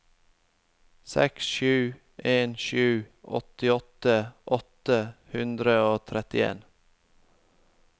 seks sju en sju åttiåtte åtte hundre og trettien